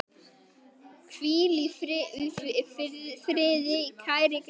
Hvíl í friði, kæri Grétar.